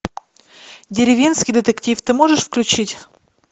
деревенский детектив ты можешь включить